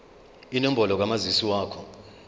inombolo kamazisi wakho